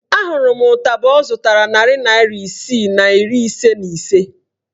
A hụrụ m ụtaba ọ zụtara narị naịra isii na iri ise na ise